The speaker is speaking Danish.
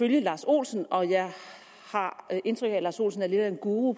lars olsen og jeg har indtryk af at lars olsen er lidt af en guru